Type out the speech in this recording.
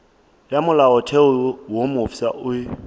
ya molaotheo wo mofsa e